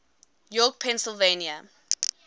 york pennsylvania